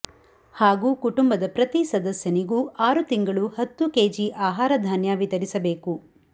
ಹಾಗೂ ಕುಟುಂಬದ ಪ್ರತಿ ಸದಸ್ಯನಿಗೂ ಆರು ತಿಂಗಳು ಹತ್ತು ಕೆಜಿ ಆಹಾರ ಧಾನ್ಯ ವಿತರಿಸಬೇಕು